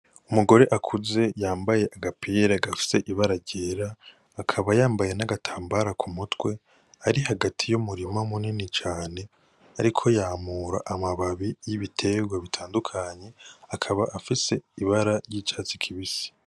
Umugore akuze yambaye agapira gafise ibara ryera, akaba yambaye n'agatambara ku mutwe. Ari hagati y'umurima munini cane. Ariko yamura amababi y'ibiterwa bitandukanye. Akaba afise ibara ry'icatsi kibisi.